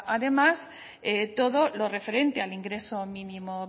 además todo lo referente al ingreso mínimo